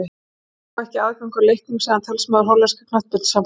Þeir fá ekki aðgang að leiknum, sagði talsmaður hollenska knattspyrnusambandsins.